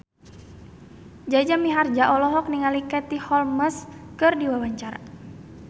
Jaja Mihardja olohok ningali Katie Holmes keur diwawancara